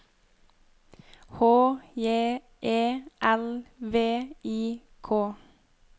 H J E L V I K